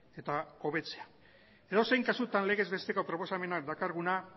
eta hobetzea edozein kasutan legez besteko proposamena dakarguna